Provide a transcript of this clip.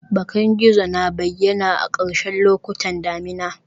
Bakan gizo na bayyana a ƙarshen lokutan damina